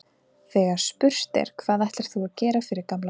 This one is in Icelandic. Þegar spurt er, hvað ætlar þú að gera fyrir gamla fólkið?